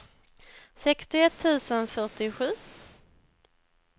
sextioett tusen fyrtiosju